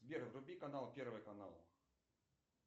сбер вруби канал первый канал